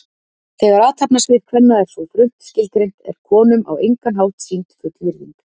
Þegar athafnasvið kvenna er svo þröngt skilgreint er konum á engan hátt sýnd full virðing.